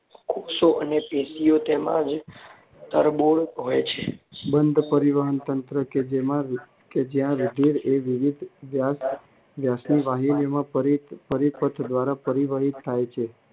કોષો અને પેશીઓ તેમાં તરબોળ હોય છે. બંધ પરિવહનતંત્ર કે જ્યાં રુધિર એ વિવિધ વ્યાસની વાહિનીઓ પરિપથ દ્વારા પરિવહિત થાય છે.